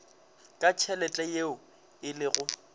ka tšhelete yeo e lego